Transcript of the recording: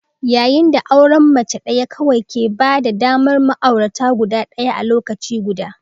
yayin da auren mace ɗaya kawai ke ba da damar ma'aurata guda ɗaya a lokaci guda.